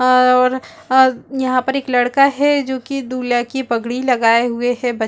और यहाँ पर एक लड़का है जो की दूल्हा की पगड़ी लगाया हुए है बच्च--